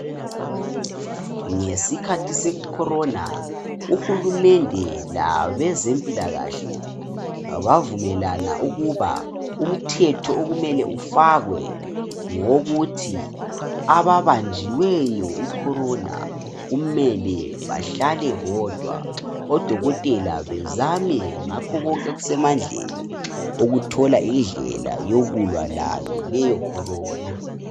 Ngesikhathi SE corona uhulumede labenzempilakahle bavumelana ukuba umthetho okumele ifakwe ngowokuthi ababanjiweyo icorona kumele behlale bodwa odokotela bezame konke okusemandleni Uthola indlela yokulwa layo leyo corona